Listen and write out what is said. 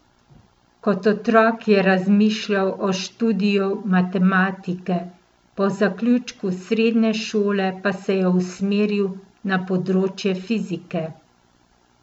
Kot otrok je razmišljal o študiju matematike, po zaključku srednje šole pa se je usmeril na področje fizike.